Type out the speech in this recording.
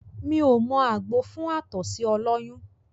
Mí ò mọ àgbo fún àtọ̀sí ọlọ́yún